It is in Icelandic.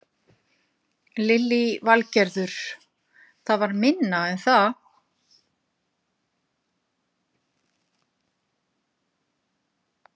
Lillý Valgerður: Það var minna en það?